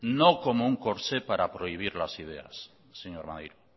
no como un corsé para prohibir las ideas señor maneiro